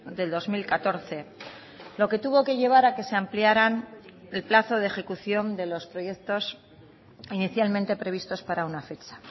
del dos mil catorce lo que tuvo que llevar a que se ampliaran el plazo de ejecución de los proyectos inicialmente previstos para una fecha